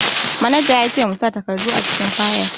Manaja ya ce mu sa takardu a cikin fayil